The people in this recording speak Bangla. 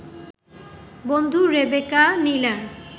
বন্ধু রেবেকা নীলার